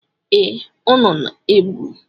Ee, ọ na-egbu.